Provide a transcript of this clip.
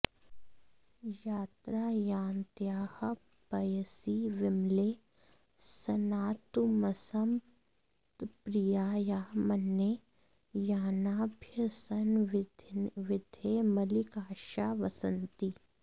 यत्रायान्त्याः पयसि विमले स्नातुमस्मत्प्रियाया मन्ये यानाभ्यसनविधये मल्लिकाक्षा वसन्ति